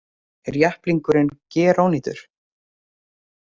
Er jepplingurinn gerónýtur